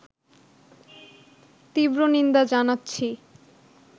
তীব্র নিন্দা জানাচ্ছি